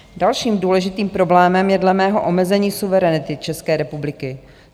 Dalším důležitým problémem je dle mého omezení suverenity České republiky.